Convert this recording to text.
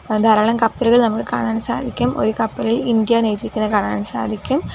ആഹ് ധാരാളം കപ്പലുകൾ നമുക്ക് കാണാൻ സാധിക്കും ഒരു കപ്പലിൽ ഇന്ത്യ എന്ന് എഴുതിയേക്കുന്നത് കാണാൻ സാധിക്കും.